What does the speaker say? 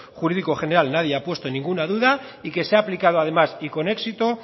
jurídico general nadie ha puesto ninguna duda y que se ha aplicado además y con éxito